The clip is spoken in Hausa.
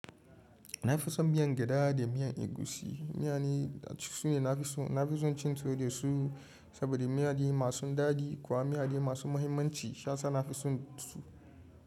Na fi son miyan gyada da miyan egusi. Miya ne su ne na fi so. Na fi son cin tuwo da su saboda miya de masu dadi kuwa miya de masu muhimmanci. Kasan na fi son su.